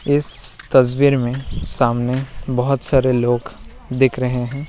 इस तस्वीर में सामने बहुत सारे लोग दिख रहे है।